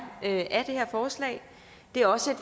af det her forslag det er også